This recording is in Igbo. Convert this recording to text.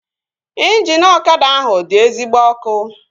Ịnjini ọkada ahụ dị ezigbo ọkụ